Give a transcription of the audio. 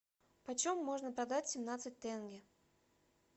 почем можно продать семнадцать тенге